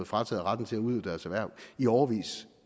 frataget retten til at udøve deres erhverv i årevis